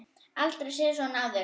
Aldrei séð svona áður.